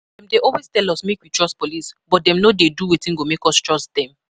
Dem dey always tell us make we trust police but dem no dey do wetin go make us trust dem